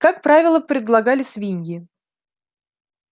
как правило предлагали свиньи